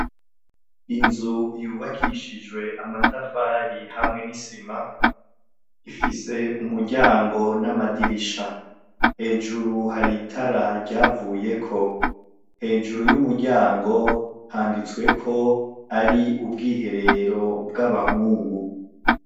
Inzu yubakishijwe amatafari hamwe n'isima, ifise umuryango n'amadirisha hejuru hari itara ryavuyeko, hejuru y'umuryango handitswe ko ari ubwiherero bw'abahungu.